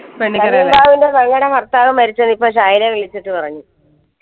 പെങ്ങളെ ഭർത്താവ് മരിച്ചത് ഇപ്പൊ ശൈല വിളിച്ചിട്ട് പറഞ്ഞു